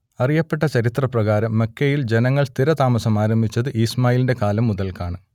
അറിയപ്പെട്ട ചരിത്രപ്രകാരം മക്കയിൽ ജനങ്ങൾ സ്ഥിരതാമസമാരംഭിച്ചത് ഇസ്മാഈലിന്റെ കാലം മുതൽക്കാണ്